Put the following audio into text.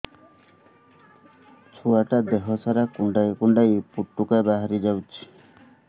ଛୁଆ ଟା ଦେହ ସାରା କୁଣ୍ଡାଇ କୁଣ୍ଡାଇ ପୁଟୁକା ବାହାରି ଯାଉଛି